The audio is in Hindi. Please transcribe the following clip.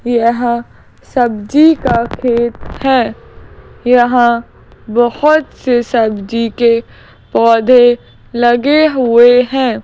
यह सब्जी का खेत है यहां बहुत से सब्जी के पौधे लगे हुए हैं।